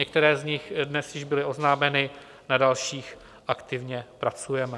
Některé z nich dnes již byly oznámeny, na dalších aktivně pracujeme.